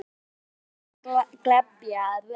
Þar er margt til að glepja.